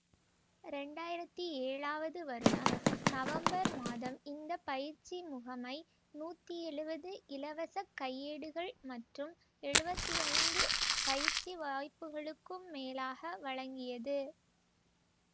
இரண்டு ஆயிரத்தி ஏழாவது வருடம் நவம்பர் மாதம் இந்த பயிற்சி முகமை நூற்றி எழுவது இலவசக் கையேடுகள் மற்றும் எழுவத்தி ஐந்து பயிற்சி வாய்ப்புகளுக்கும் மேலாக வழங்கியது